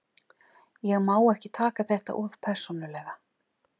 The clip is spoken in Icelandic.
Ég má ekki taka þetta of persónulega.